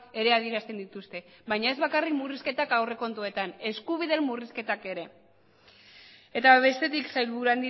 ere adierazten dituzte baina ez bakarrik murrizketak aurrekontuetan eskubideen murrizketak ere eta bestetik sailburu